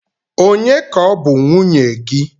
Ònye ka ọ bụ nwunye gị?